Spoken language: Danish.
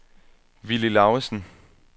Willy Laugesen